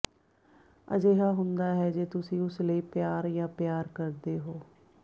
ਅਜਿਹਾ ਹੁੰਦਾ ਹੈ ਜੇ ਤੁਸੀਂ ਉਸ ਲਈ ਪਿਆਰ ਜਾਂ ਪਿਆਰ ਕਰਦੇ ਹੋ